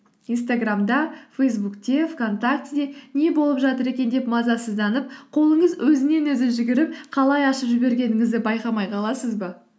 инстаграмда фейсбукте вконтактіде не болып жатыр екен деп мазасызданып қолыңыз өзінен өзі жүгіріп қалай ашып жібергеніңізді байқамай қаласыз ба